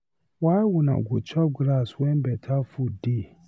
Why una go dey chop grass when better food dey.